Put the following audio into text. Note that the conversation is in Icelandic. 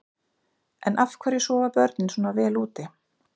En af hverju sofa börnin svona vel úti?